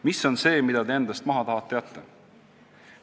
Mis on see, mille te endast maha tahate jätta?